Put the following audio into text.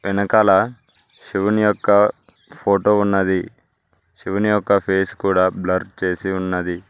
వెనకాల శివుని యొక్క ఫోటో ఉన్నది శివుని యొక్క ఫేస్ కూడా బ్లర్ చేసి ఉన్నది.